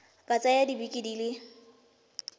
ka tsaya dibeke di le